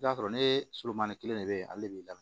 I b'a sɔrɔ ne soromani kelen de bɛ ale b'i lam